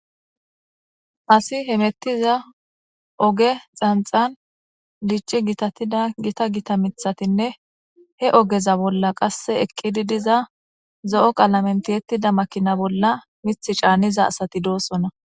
asi hemettiza oge xanxan dici gitattida gita gita mithatinne he ogeza bolla qasse ekqidi diza zo7o qaalamentiyettida makina bolla mith caanniza asati doosona